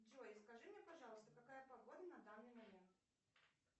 джой скажи мне пожалуйста какая погода на данный момент